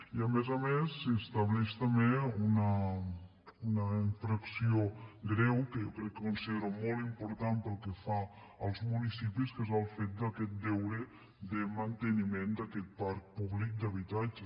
i a més a més s’estableix també una infracció greu que jo considero molt important pel que fa als municipis que és el fet d’aquest deure de manteniment d’aquest parc públic d’habitatges